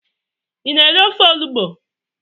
Ị na-eri ofe onụgbụ?